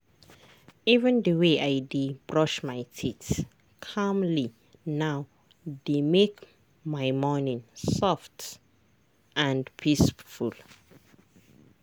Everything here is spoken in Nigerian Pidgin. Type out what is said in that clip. even the way i dey brush my teeth calmly now dey make my morning soft and peaceful.